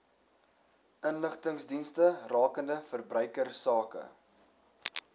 inligtingsdienste rakende verbruikersake